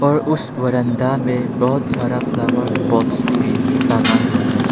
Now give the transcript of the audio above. और उसे बरामदा में बहोत सारा फ्लावर पॉट्स भी टांगा हुआ है।